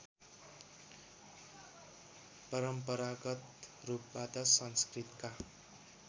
परम्परागत रूपबाट संस्कृतका